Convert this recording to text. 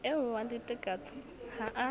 eo wa letekatse ha a